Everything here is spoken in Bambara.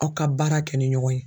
Aw ka baara kɛ ni ɲɔgɔn ye.